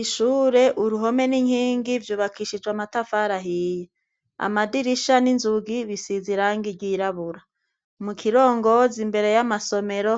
Ishure ,impome, n'inkingi vyubakishije amatafari ahiye. Amadirisha n'inzugi bisize irangi ryirabura. mukirongozi